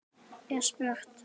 er spurt.